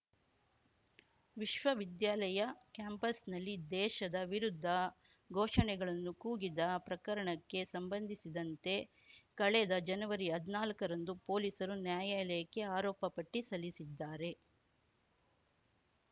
ವಿಶ್ವವಿದ್ಯಾಲಯ ಕ್ಯಾಂಪಾಸ್‌ನಲ್ಲಿ ದೇಶದ ವಿರುದ್ಧ ಘೋಷಣೆಗಳನ್ನು ಕೂಗಿದ ಪ್ರಕರಣಕ್ಕೆ ಸಂಬಂಧಿಸಿದಂತೆ ಕಳೆದ ಜನವರಿ ಹದ್ನಾಲ್ಕ ರಂದು ಪೊಲೀಸರು ನ್ಯಾಯಾಲಯಕ್ಕೆ ಆರೋಪ ಪಟ್ಟಿ ಸಲ್ಲಿಸಿದ್ದಾರೆ